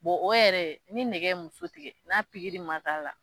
Bɔn o yɛrɛ ni nɛgɛ ye muso tigɛ n'a pigiri ma k'a la